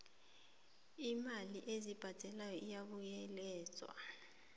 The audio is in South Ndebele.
iimali ezibhadelwako zibuyekezwa